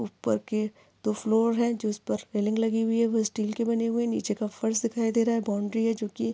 उपर की दो फ्लोर है जिसपर सीलिंग लगी हुवी है वो स्टील की बनी हुवी है निचे का फर्श दिखाई दे रहा है बाउंड्री है जो की--